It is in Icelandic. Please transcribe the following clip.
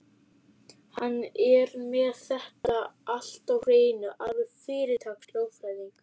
Hann er með þetta allt á hreinu, alveg fyrirtaks-lögfræðingur.